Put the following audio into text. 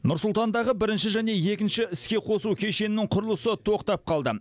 нұр сұлтандағы бірінші және екінші іске қосу кешенінің құрылысы тоқтап қалды